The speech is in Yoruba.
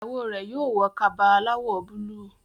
ìyàwó rẹ yóò wọ Kaba aláwọ̀ búlúù